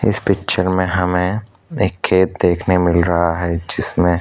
इस पिक्चर में हमें एक खेत देखने मिल रहा है जिसमें --